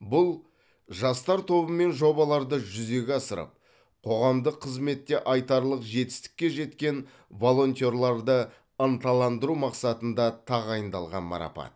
бұл жастар тобымен жобаларды жүзеге асырып қоғамдық қызметте айтарлық жетістікке жеткен волонтерларды ынталандыру мақсатында тағайындалған марапат